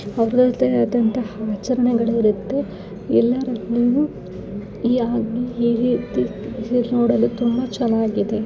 ಹೊಗಳುತಿರೋ ಅಂತಹ ವಚನಗಳು ಇರತ್ತೆ ಎಲ್ಲ ಯಾವಾಗ್ಲೂ ಹೀಗೆ ಇರತ್ತೆ ನೋಡಲು ತುಂಬಾ ಚೆನ್ನಾಗಿದೆ.